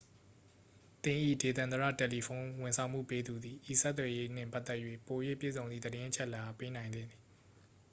သင်၏ ဒေသန္တရ တယ်လီဖုန်း ဝန်ဆောင်မှုပေးသူသည် ဤဆက်သွယ်ရေးနှင့်ပတ်သက်၍ ပို၍ပြည့်စုံသည့်သတင်းအချက်အလက်အား ပေးနိုင်သင့်သည်